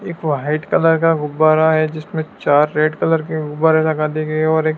एक white colour का गुब्बारा है जिसमें चार रेड कलर के गुब्बारे लगा दिए गए है और एक--